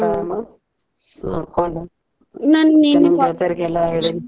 ನೋಡ್ಕೊಂಡು ಹೆಳೇನಿ.